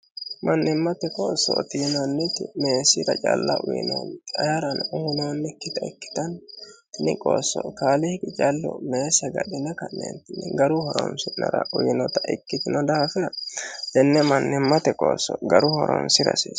mannimmate qoossooti yinanniti meessira calla uyinoonni ayeerano uyinoonnikkita ikkitani tini qoosso kaaliiqcallu meessa agadhine ka'neentinni garu horonsi'nara uyiinota ikkitino daafira tenne mannimmate qoosso garuyi horoonsira hasiisanno.